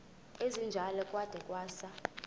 esinjalo kwada kwasa